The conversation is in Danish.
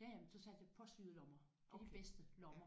Ja ja men så satte jeg påsyede lommer. Det er de bedste lommer